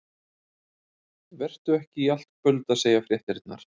Vertu ekki í allt kvöld að segja fréttirnar.